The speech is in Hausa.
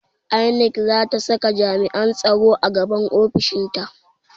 INEC zata saka jami'an tsaro a gaban ofishinta